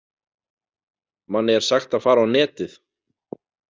Manni er sagt að fara á netið!